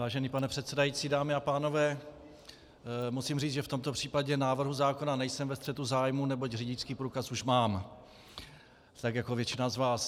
Vážený pane předsedající, dámy a pánové, musím říct, že v tomto případě návrhu zákona nejsem ve střetu zájmů, neboť řidičský průkaz už mám, tak jako většina z vás.